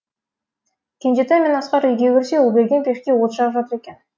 кенжетай мен асқар үйге кірсе ұлберген пешке от жағып жатыр екен